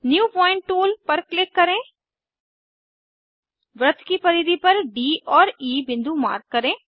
new point toolपर click करें वृत्त की परिधि पर डी और ई बिंदु मार्क करें